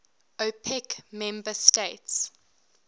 opec member states